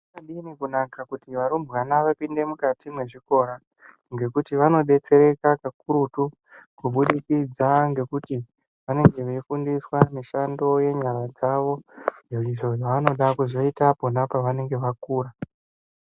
Zvakadini kunaka kuti varumbwana vapinde mukati mwezvikora. Ngekuti vanobetsereka kakurutu kubudikidza ngekuti vanenge veifundiswa mishando yenyara dzavo. Izvo zvavanoda kuzoita pona pavanenge vakura.